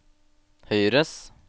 høyres